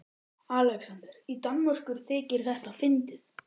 ALEXANDER: Í Danmörku þykir þetta fyndið!